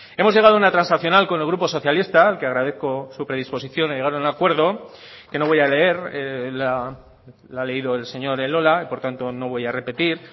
hemos llegado a una transaccional con el grupo socialista al que agradezco su predisposición a llegar a un acuerdo que no voy a leer la ha leído el señor elola y por tanto no voy a repetir